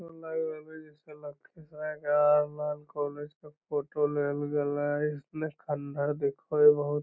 इ लाग रहले जैसन लखीसराय के कॉलेज के फोटो बहुत --